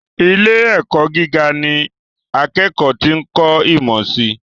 Ilé - ẹ̀kọ́ gíga ní akẹ́kọ̀ọ́ ti ń kọ̀ ìmọ̀ sii